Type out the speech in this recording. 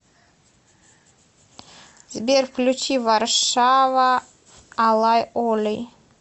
сбер включи варшава алай оли